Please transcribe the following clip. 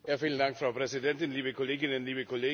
Frau Präsidentin, liebe Kolleginnen, liebe Kollegen!